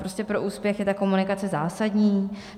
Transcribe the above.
Prostě pro úspěch je ta komunikace zásadní.